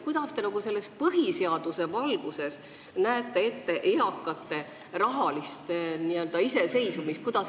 Kuidas te põhiseaduse valguses kujutate ette eakate inimeste rahalist n-ö iseseisvumist?